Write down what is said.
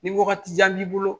Ni wagatijan b'i bolo